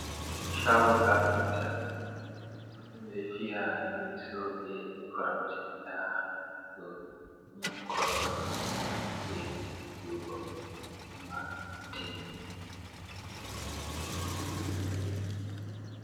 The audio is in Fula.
Chago kafinta ɓe ɗo fiya leso be koramje nda ɗo ni korowal ni ɓe fuɗi fiwugo ɓe timmimai.